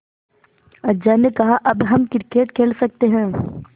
अज्जा ने कहा अब हम क्रिकेट खेल सकते हैं